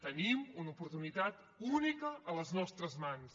tenim una oportunitat única a les nostres mans